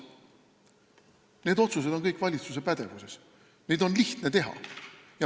Need otsused on kõik valitsuse pädevuses, neid on lihtne teha.